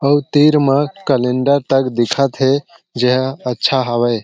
आऊ तीर मग कलेण्डर तक दिखत हे जेहा अच्छा हावय।